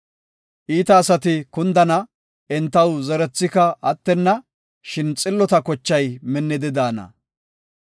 Iita asati kundana; entaw zerethika attenna; shin xillota kochay minnidi de7ana.